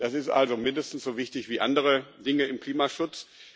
Das ist also mindestens so wichtig wie andere Dinge im Klimaschutz.